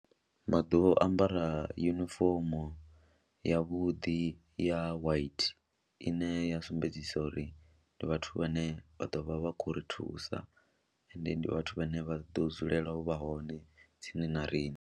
Vha ḓo ambara yunifomo yavhuḓi ya white ine ya sumbedzisa uri ndi vhathu vhane vha ḓo vha vha khou ri thusa ende ndi vhathu vhane vha ḓo dzulela u vha hone tsini na riṋe.